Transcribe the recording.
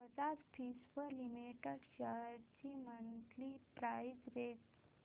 Bajaj Finserv limited shares ची monthly price range